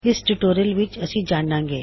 ਇਸ ਟਿਊਟੋਰਿਯਲ ਵਿੱਚ ਅਸੀ ਜਾਨਾਂਗੇ